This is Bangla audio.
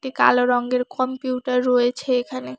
কালো রঙ্গের কম্পিউটার রয়েছে এখানে।